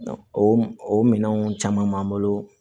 O o minɛnw caman b'an bolo